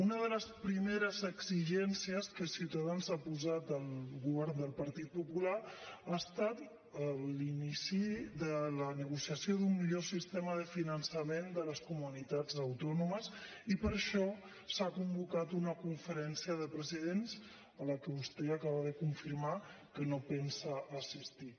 una de les primeres exigències que ciutadans ha posat al govern del partit popular ha estat l’inici de la negociació d’un millor sistema de finançament de les comunitats autònomes i per això s’ha convocat una conferència de presidents a la qual vostè acaba de confirmar que no pensa assistir